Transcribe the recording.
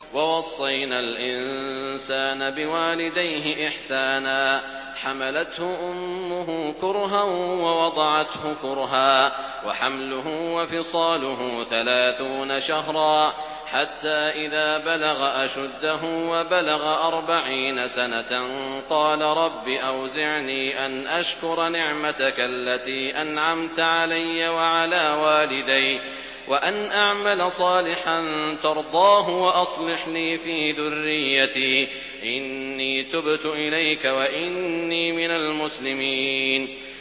وَوَصَّيْنَا الْإِنسَانَ بِوَالِدَيْهِ إِحْسَانًا ۖ حَمَلَتْهُ أُمُّهُ كُرْهًا وَوَضَعَتْهُ كُرْهًا ۖ وَحَمْلُهُ وَفِصَالُهُ ثَلَاثُونَ شَهْرًا ۚ حَتَّىٰ إِذَا بَلَغَ أَشُدَّهُ وَبَلَغَ أَرْبَعِينَ سَنَةً قَالَ رَبِّ أَوْزِعْنِي أَنْ أَشْكُرَ نِعْمَتَكَ الَّتِي أَنْعَمْتَ عَلَيَّ وَعَلَىٰ وَالِدَيَّ وَأَنْ أَعْمَلَ صَالِحًا تَرْضَاهُ وَأَصْلِحْ لِي فِي ذُرِّيَّتِي ۖ إِنِّي تُبْتُ إِلَيْكَ وَإِنِّي مِنَ الْمُسْلِمِينَ